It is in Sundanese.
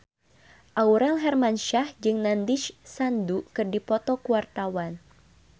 Aurel Hermansyah jeung Nandish Sandhu keur dipoto ku wartawan